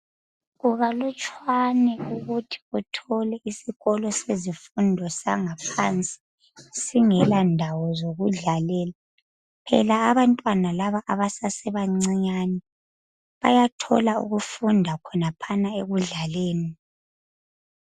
Kukalutshwane ukuthi uthole isikolo sezifundo sangaphansi singela ndawo zokudlalela, phela abantwana laba abasasebancinyane bayathola ukufunda khonaphana ekudlaleni.